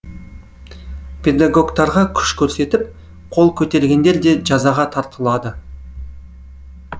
педагогтарға күш көрсетіп қол көтергендер де жазаға тартылады